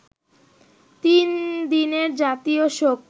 তিন দিনের জাতীয় শোক